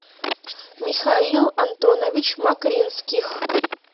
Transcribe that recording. михаил антонович макринских